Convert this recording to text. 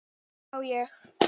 Á ég?